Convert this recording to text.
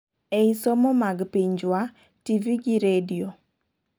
ei somo mag pinjwa , tv gi radio